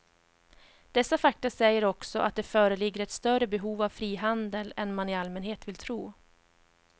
Dessa fakta säger också att det föreligger ett större behov av frihandel än man i allmänhet vill tro.